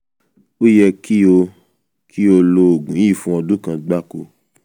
ó yẹ kí o kí o lo oògùn yìí fún ọdún kan gbáko